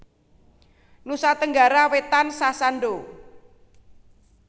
Nusa Tenggara Wétan Sasando